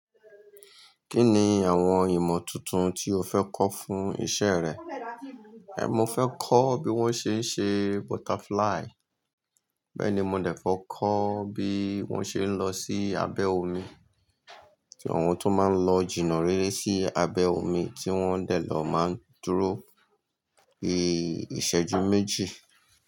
Kí ni àwọn ìmọ̀ tuntun tí o fẹ́ kọ́ fún iṣẹ́ rẹ? Ẹ̀, mo fẹ́ kọ́ bí wọ́n ṣe ń ṣe butterfly. Bẹ́ẹ̀ ni, mo dẹ̀ fẹ́ kọ́ bí wọ́n ṣe ń lọ sí abẹ́ omi, kí àwọn tó máa ń lọ jìnà réré sí abẹ́ omi tí wọ́n dẹ̀ lọ máa ń dúró. Èé, ìṣẹ́jú méjì.